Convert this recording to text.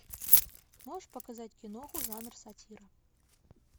можешь показать киноху жанр сатира